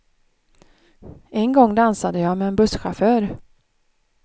En gång dansade jag med en busschaufför.